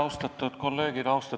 Austatud kolleegid!